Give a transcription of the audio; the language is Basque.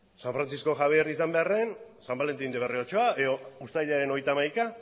san frantzisko xabier izan beharrean san valentin de berriotxoa edo uztailaren hogeita hamaika